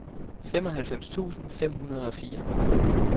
femoghalvfems tusind fem hundrede og fire